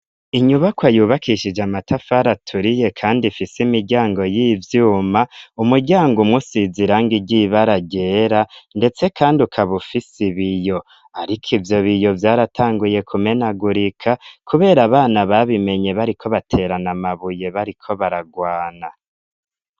Inyubakwa yubakishije amatafari aturiye kandi ifise imiryango y'ivyuma, umuryango umwe usize irangi ry'ibara ryera ndetse kandi ukaba ufise ibiyo, ariko ivyo biyo vyaratanguye kumenagurika kubera abana babimenye bariko baterana amabuye bariko baragwana.